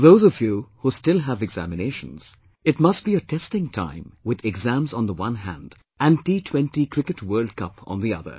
For those of you who still have examinations, it must be a testing time with exams on one hand and T20 Cricket World Cup on the other